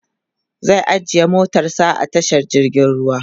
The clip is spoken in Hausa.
zai ajiye motarsa a tashar jirgin ruwa